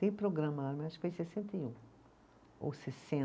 Tem programa lá, mas acho que foi em sessenta e um, ou